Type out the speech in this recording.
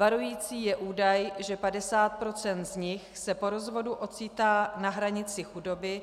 Varující je údaj, že 50 % z nich se po rozvodu ocitá na hranici chudoby,